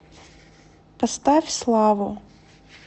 поставь славу